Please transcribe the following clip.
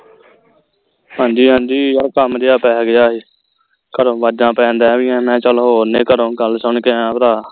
ਹਾਂ ਜੀ ਹਾਂ ਜੀ ਉਹ ਕੰਮ ਜਿਹਾ ਪੈ ਗਿਆ ਹੈ ਘਰੋਂ ਵਾਜਾਂ ਪੈਣ ਮੈਂ ਚਲੋ ਹੋਰ ਨਹੀਂ ਘਰੋਂ ਗੱਲ ਗੱਲ ਸੁਨ ਕੇ ਆਈਆਂ ਭਰਾ